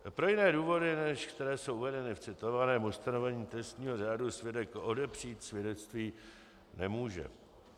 Pro jiné důvody, než které jsou uvedeny v citovaném ustanovení trestního řádu, svědek odepřít svědectví nemůže.